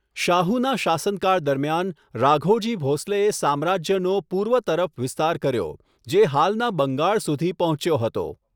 શાહુના શાસનકાળ દરમિયાન, રાઘોજી ભોસલેએ સામ્રાજ્યનો પૂર્વ તરફ વિસ્તાર કર્યો, જે હાલના બંગાળ સુધી પહોંચ્યો હતો.